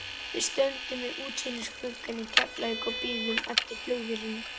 Við stöndum við útsýnisgluggann í Keflavík og bíðum eftir flugvélinni.